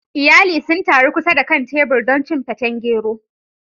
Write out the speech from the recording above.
Iyali sun taru kusa da kan tebur don cin feten gero.